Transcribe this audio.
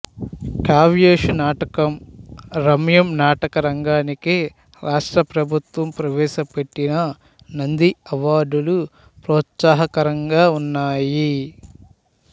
కావ్యేషు నాటకం రమ్యం నాటక రంగానికి రాష్ట్ర ప్రభుత్వం ప్రవేశపెట్టిన నంది అవార్డులు ప్రోత్సాహకరంగా ఉన్నాయి